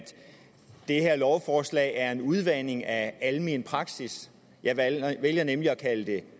det her lovforslag er en udvanding af almen praksis jeg vælger nemlig at kalde det